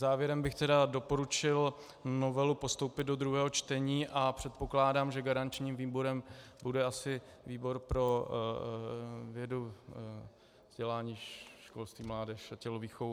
Závěrem bych tedy doporučil novelu postoupit do druhého čtení a předpokládám, že garančním výborem bude asi výbor pro vědu, vzdělání, školství, mládež a tělovýchovu.